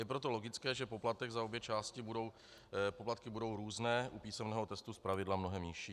Je proto logické, že poplatky za obě části budou různé - u písemného testu zpravidla mnohem nižší.